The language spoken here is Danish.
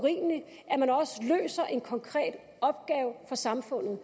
så en konkret opgave for samfundet